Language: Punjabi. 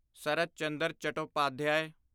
ਸਰਤ ਚੰਦਰ ਚਟੋਪਾਧਿਆਏ